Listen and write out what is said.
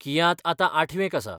कियात आतां आठवेक आसा.